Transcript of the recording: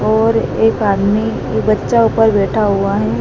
और एक आदमी की बच्चा ऊपर बैठा हुआ है।